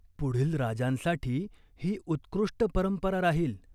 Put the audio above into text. पुढील राजांसाठी ही उत्कृष्ट परंपरा राहील.